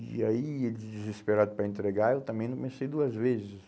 E aí, desesperado para entregar, eu também não pensei duas vezes.